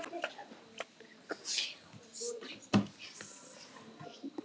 Takk fyrir öll árin.